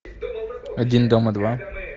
один дома два